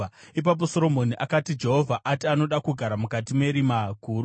Ipapo Soromoni akati, “Jehovha ati anoda kugara mukati merima guru;